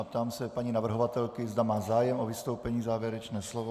A ptám se paní navrhovatelky, zda má zájem o vystoupení, závěrečné slovo.